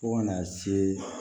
Fo kana se